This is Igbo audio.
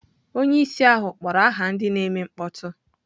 Onye isi ahụ kpọrọ aha ndị na-eme mkpọtụ.